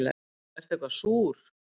Ertu eitthvað súr?